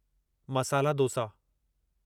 masala dosa